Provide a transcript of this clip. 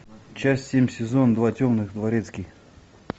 часть семь сезон два темный дворецкий